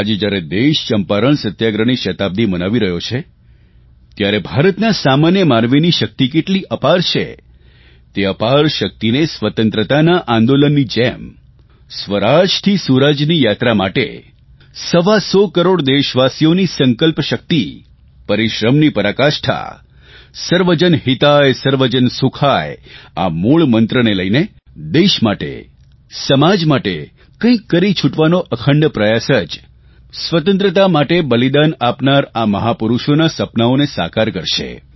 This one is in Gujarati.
આજે જયારે દેશ ચંપારણ સત્યાગ્રહની શતાબ્દી મનાવી રહ્યો છે ત્યારે ભારતના સામાન્ય માનવીની શકિત કેટલી અપાર છે તે અપાર શકિતને સ્વતંત્રતાના આંદોલનની જેમ સ્વરાજથી સુરાજની યાત્રા માટે સવા સો કરોડ દેશવાસીઓની સંકલ્પ શકિત પરિશ્રમની પરાકાષ્ઠા સર્વજન હિતાય સર્વજન સુખાય આ મૂળ મંત્રને લઇને દેશ માટે સમાજ માટે કંઇ કરી છુટવાનો અખંડ પ્રયાસ જ સ્વતંત્રતા માટે બલિદાન આપનારા આ મહાપુરૂષોના સપનાંઓને સાકાર કરશે